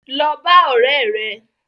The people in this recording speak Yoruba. Lọ bá ọ̀rẹ́ rẹ.